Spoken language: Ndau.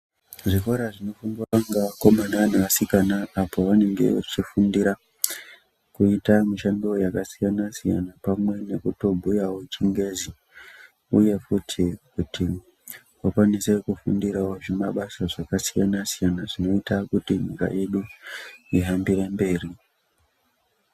Zvikora zvinofundwa ngeakomana nevasikana apo vanenge vechifundira kuita mushando yakasiyana-siyana pamwe nekutobhuyawo chingezi ,uye futi kuti vakwanise kufundirawo zvimabasa zvakasiyana-siyana zvinoita kuti nyika yedu ihambire mberi.